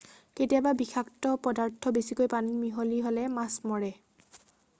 কেতিয়াবা বিষাক্ত পদাৰ্থ বেছিকৈ পানীত মিহলি হ'লে মাছ মৰে